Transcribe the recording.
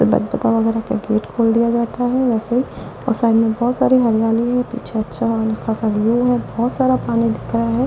वगैरह का गेट खोल दिया जाता है वैसे और साइड में बहोत सारी हरियाली है पीछे अच्छा खासा व्यू है बहोत सारा पानी दिख रहा है।